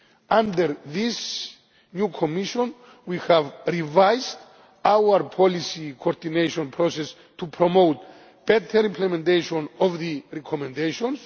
Under this new Commission, we have revised our policy coordination process to promote better implementation of the recommendations.